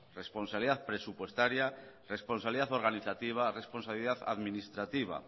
responsabilidad presupuestaria responsabilidad organizativa responsabilidad administrativa